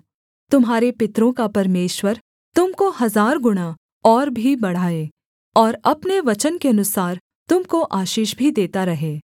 तुम्हारे पितरों का परमेश्वर तुम को हजारगुणा और भी बढ़ाए और अपने वचन के अनुसार तुम को आशीष भी देता रहे